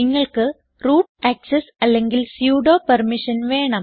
നിങ്ങൾക്ക് root access അല്ലെങ്കിൽ sudo permission വേണം